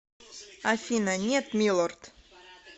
афина нет милорд